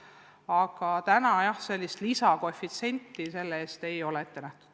Aga seni tõesti lisakoefitsienti keeleõppeks ei ole ette nähtud.